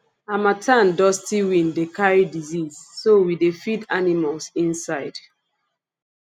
harmattan dusty wind dey carry disease so we dey feed animals inside